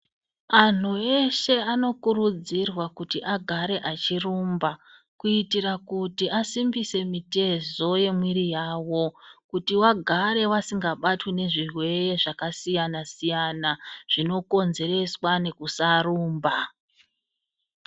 Anhu eshe anokurudzirwa kuti agare achirumba kuitira kuti asimbise mitezo yemwiri yavo kuti vagare vasingabatwi nezvirwere zvakasiyana -siyana zvinokonzerwa nekusarumba.